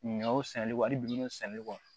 Ɲɔw sɛnɛli wali bi sɛnɛ kɔ